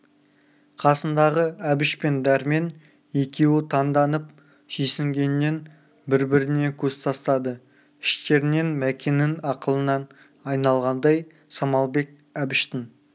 қасындағы әбіш пен дәрмен екеуі таңданып сүйсінгеннен бір-біріне көз тастады іштерінен мәкеннің ақылынан айналғандай самалбек әбіштің